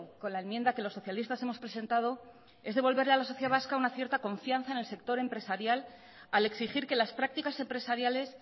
con la enmienda que los socialistas hemos presentado es devolverle a la sociedad vasca una cierta confianza en el sector empresarial al exigir que las prácticas empresariales